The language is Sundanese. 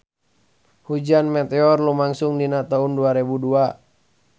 Hujan meteor lumangsung dina taun dua rebu dua